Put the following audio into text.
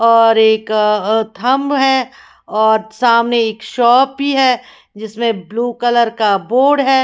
और एक अ थंब है और सामने एक शॉप भी है जिसमें ब्लू कलर का बोर्ड है।